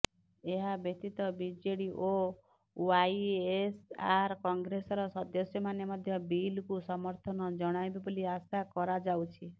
ଏହା ବ୍ୟତୀତ ବିଜେଡ଼ି ଓ ୱାଇଏସଆର କଂଗ୍ରେସର ସାଂସଦମାନେ ମଧ୍ୟ ବିଲକୁ ସମର୍ଥନ ଜଣାଇବେ ବୋଲି ଆଶା କରାଯାଉଛି